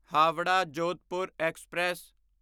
Howrah Jodhpur express